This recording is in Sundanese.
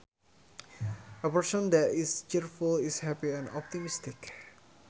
A person that is cheerful is happy and optimistic